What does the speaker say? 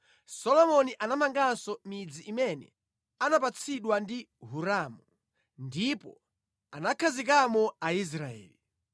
Solomoni anamanganso midzi imene anapatsidwa ndi Hiramu, ndipo anakhazikamo Aisraeli.